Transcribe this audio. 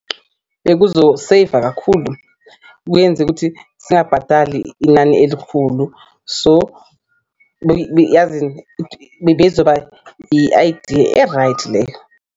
Bekuzoseyiva kakhulu kuyenze ukuthi singabhadali inani elikhulu so, yazini bebezoba i-idea e-right leyo.